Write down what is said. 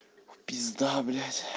пизда блядь